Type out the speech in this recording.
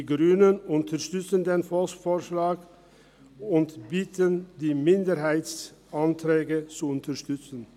Die Grünen unterstützen den Volksvorschlag und bitten, die Minderheitsanträge zu unterstützen.